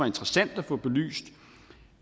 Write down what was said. interessant at få belyst